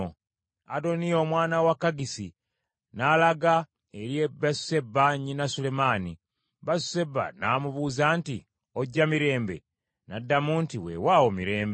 Adoniya omwana wa Kaggisi, n’alaga eri Basuseba nnyina Sulemaani. Basuseba n’amubuuza nti, “Ojja mirembe?” N’addamu nti, “Weewaawo mirembe.”